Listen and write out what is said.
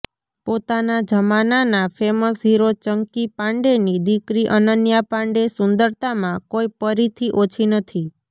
પોતાના જમાનાના famous hero Chunky પાન્ડેની દીકરી અનન્યા પાંડે સુંદરતામાં કોઈ પરીથી ઓછી નથી